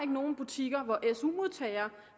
nogen butikker hvor su modtagere